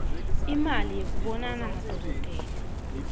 imali yekubonana nadokotela